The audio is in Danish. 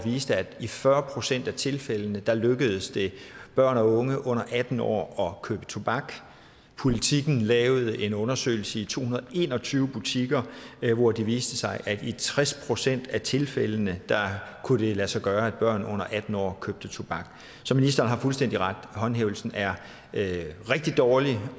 viste at i fyrre procent af tilfældene lykkedes det børn og unge under atten år at købe tobak politikken lavede en undersøgelse i to hundrede og en og tyve butikker hvor det viste sig at i tres procent af tilfældene kunne det lade sig gøre at børn under atten år købte tobak så ministeren har fuldstændig ret håndhævelsen er rigtig dårlig